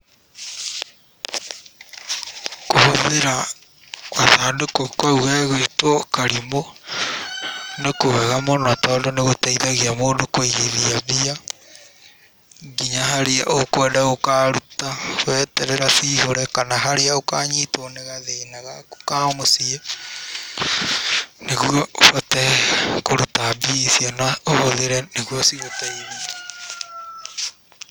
Kũhũthĩra gathandũkũ kaũ gegwĩtwo karimũ, nĩ kwega mũno tondũ nĩ gũteithagia mũndũ kũigithia mbia nginya harĩa ũkwenda gũkaruta weterera cihũre, kana haria ũkanyitwo nĩ gathĩna gaku ka mũciĩ, nĩguo ũhote kũruta mbia icio na ũhũthĩre nĩguo cigũteithie.